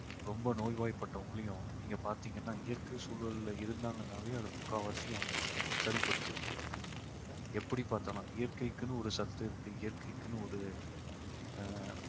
ரொம்ப நோய்வாய்ப்பட்டவங்களையும் நீங்க பாத்தீங்கன்னா இயற்கை சூழல்ல இருந்தாங்கன்னாவே அது முக்காவாசி அவங்களை சரிப்படுத்திரும் எப்படி பார்த்தாலும் இயற்கைக்குன்னு ஒரு சத்து இருக்கு இயற்கைக்குன்னு ஒரு ஆஹ்